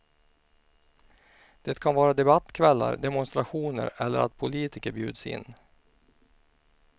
Det kan vara debattkvällar, demonstrationer eller att politiker bjuds in.